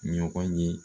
Ɲɔgɔn ye